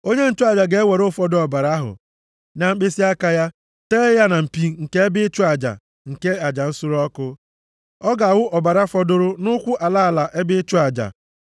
Onye nchụaja ga-ewere ụfọdụ ọbara ahụ na mkpịsịaka ya tee ya na mpi nke ebe ịchụ aja nke aja nsure ọkụ, ọ ga-awụ ọbara fọdụrụ nʼụkwụ ala ala ebe ịchụ aja.